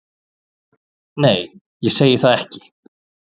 Nei, ég segi það ekki.